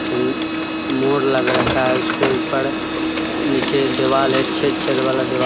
मोर लग रखा है उसके ऊपर नीचे दिवाल है छेद-छेद वाला देवा--